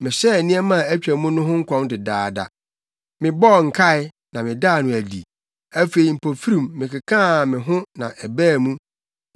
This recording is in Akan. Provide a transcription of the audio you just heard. Mehyɛɛ nneɛma a atwa mu no ho nkɔm dedaada, mebɔɔ nkae, na medaa no adi; afei mpofirim mekekaa me ho na ɛbaa mu.